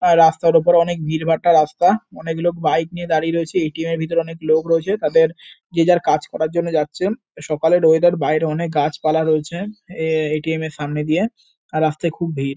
আর রাস্তার উপরে অনেক ভিড়ভাট্টা রাস্তা। অনেক লোক বাইক নিয়ে দাঁড়িয়ে রয়েছে। এ. টি. এম এর ভেতরে অনেক লোক রয়েছে তাদের যে যার কাজ করার জন্য যাচ্ছে। সকালের ওয়েদার বাইরে অনেক গাছপালা রয়েছে এ. টি. এম এর সামনে দিয়ে আর রাস্তায় খুব ভিড়--